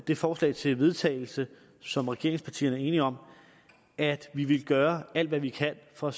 det forslag til vedtagelse som regeringspartierne er enige om at vi vil gøre alt hvad vi kan for